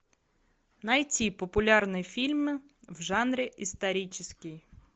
найти популярные фильмы в жанре исторический